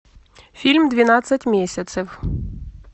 фильм двенадцать месяцев